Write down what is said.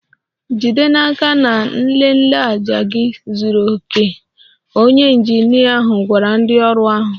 Jide n'aka na nlele ájá gị zuru oke! Onye injinia ahụ gwara ndị ọrụ ahụ.